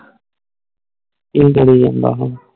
ਕਿ ਕਰਿ ਜਾਂਦਾ ਆ